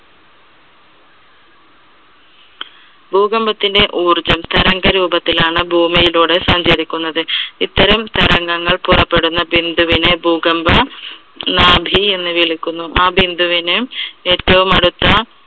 ഭൂകമ്പത്തിന്റെ ഊർജം തരംഗ രൂപത്തിലാണ് ഭൂമിയിലൂടെ സഞ്ചരിക്കുന്നത്. ഇത്തരം തരംഗങ്ങൾ പുറപ്പെടുന്ന ബിന്ദുവിനെ ഭൂകമ്പ നാഭി എന്ന് വിളിക്കുന്നു. ആ ബിന്ദുവിന് ഏറ്റവും അടുത്ത